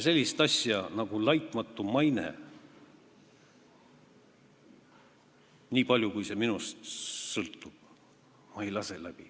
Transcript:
Sellist asja nagu "laitmatu maine", nii palju kui see minust sõltub, ma läbi ei lase.